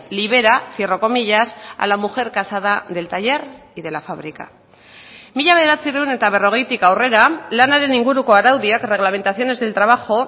libera cierro comillas a la mujer casada del taller y de la fábrica mila bederatziehun eta berrogeitik aurrera lanaren inguruko araudiak reglamentaciones del trabajo